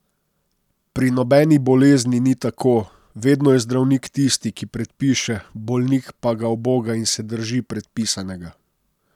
Pri nobeni bolezni ni tako, vedno je zdravnik tisti, ki predpiše, bolnik pa ga uboga in se drži predpisanega.